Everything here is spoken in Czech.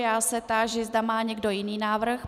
Já se táži, zda má někdo jiný návrh.